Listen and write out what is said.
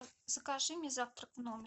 закажи мне завтрак в номер